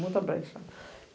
Muita brecha.